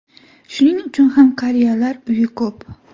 Shuning uchun ham qariyalar uyi ko‘p.